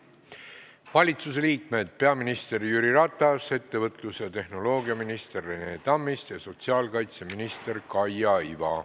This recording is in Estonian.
Valitsusliikmetest on siin täna peaminister Jüri Ratas, ettevõtlus- ja infotehnoloogiaminister Rene Tammist ja sotsiaalkaitseminister Kaia Iva.